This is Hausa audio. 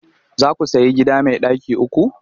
Za ku sayi gida mai ɗaki uku?